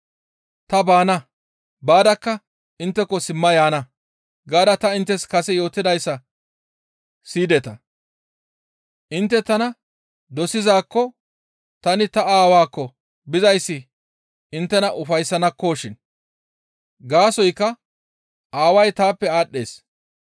« ‹Ta baana; baadakka intteko simma yaana› gaada ta inttes kase yootidayssa siyideta; intte tana dosizaakko tani ta Aawaakko bizayssi inttena ufayssanakkoshin. Gaasoykka Aaway taappe aadhdhees.